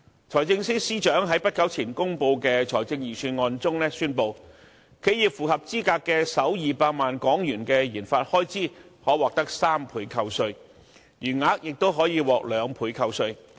財政司司長在不久前公布的財政預算案中宣布，企業符合資格的首200萬元的研發開支可獲3倍扣稅，餘額亦可以獲得2倍扣稅。